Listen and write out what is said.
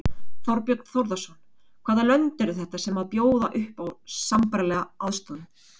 Þorbjörn Þórðarson: Hvaða lönd eru þetta sem að bjóða upp á sambærilega sérstöðu?